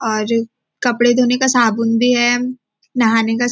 और कपड़े धोने का साबुन भी है नहाने का --